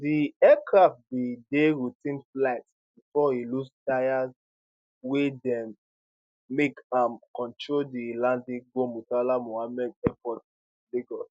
di aircraft bin dey routine flight before e lose tyres wey make am control di landing go murtala muhammed international airport lagos